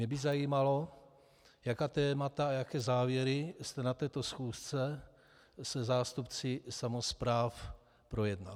Mě by zajímalo, jaká témata a jaké závěry jste na této schůzce se zástupci samospráv projednal.